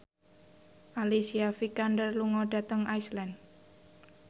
Alicia Vikander lunga dhateng Iceland